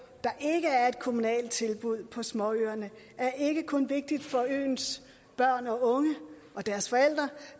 der ikke er et kommunalt tilbud på småøerne er ikke kun vigtigt for øens børn og unge og deres forældre